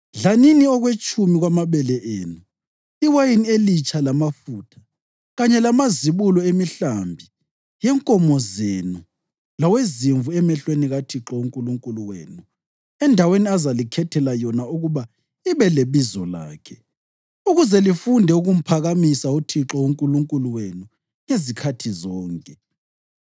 Dlanini okwetshumi kwamabele enu, iwayini elitsha lamafutha, kanye lamazibulo emihlambi yenkomo zenu lawezimvu emehlweni kaThixo uNkulunkulu wenu endaweni azalikhethela yona ukuba ibe leBizo lakhe, ukuze lifunde ukumphakamisa uThixo uNkulunkulu wenu ngezikhathi zonke.